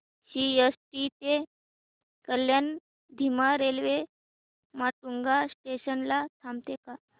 CST ते कल्याण धीमी railway Matunga station ला थांबते का